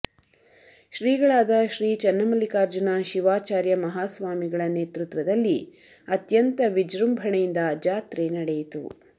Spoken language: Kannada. ಶ್ರೀಗಳಾದ ಶ್ರೀ ಚನ್ನಮಲ್ಲಿಕಾರ್ಜುನ ಶಿವಾಚಾರ್ಯ ಮಹಾಸ್ವಾಮಿಗಳ ನೇತೃತ್ವದಲ್ಲಿ ಅತ್ಯಂತ ವಿಜೃಂಭಣೆಯಿಂದ ಜಾತ್ರೆ ನಡೆಯಿತು